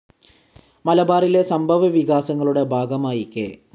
മലബാറിലെ സംഭവവികാസങ്ങളുടെ ഭാഗമായി കെ.